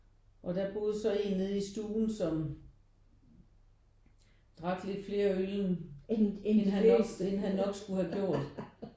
Og der boede så én nede i stuen som drak lidt flere øl end end han nok skulle have gjort